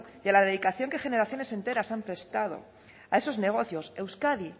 y a la dedicación que generaciones enteras han prestado a esos negocios euskadi